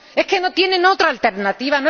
¿Es que no tienen otra alternativa?